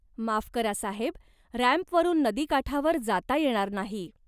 माफ करा साहेब, रॅम्पवरून नदीकाठावर जाता येणार नाही.